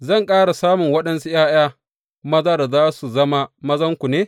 Zan ƙara samun waɗansu ’ya’ya maza da za su zama mazanku ne?